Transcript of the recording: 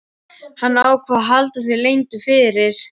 Hann ákvað að halda því leyndu fyrir